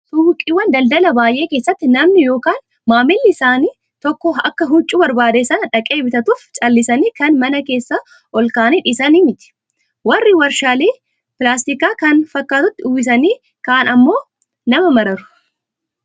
Suuqiiwwan daldalaa baay'ee keessatti namni yookaan maamilli isaanii tokko akka huccuu barbaade sana dhaqee bitatuuf callisanii kan mana keessa ol kaa'anii dhiisan miti. Warri meeshaalee pilaastikaa kan fakkaatutti uwwisanii kaa'an akkam nama mararu